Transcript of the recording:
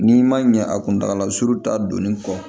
N'i ma ɲɛ a kuntagala surun ta donni kɔ